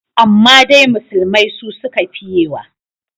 Amma dai musulmai su suka fiyewa.